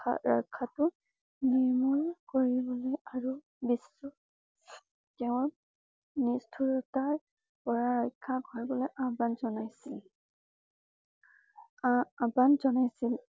ৰক্ষাটো নিৰ্মল কৰিবলৈ আৰু বিশ্ব তেওঁৰ নিষ্ঠুৰতাৰ পৰা ৰক্ষা কৰিবলৈ আহ্বান জনাইছিল। আহ আহ্বান জনাইছিল।